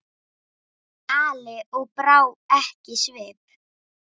Ali og brá ekki svip.